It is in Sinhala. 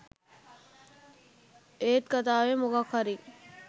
ඒත් කතාවේ මොකක් හරි